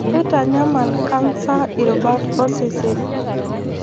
Keitanyamal cancer irubat osesen.